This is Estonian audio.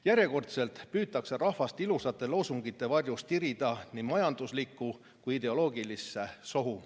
Järjekordselt püütakse rahvast ilusate loosungite varjus tirida nii majanduslikku kui ka ideoloogilisse sohu.